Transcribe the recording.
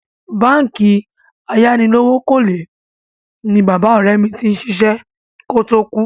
Báǹkì ayánilówókọ́lé ni bàbá ọ̀rẹ́ mi ti ṣiṣẹ́ kó tó kú.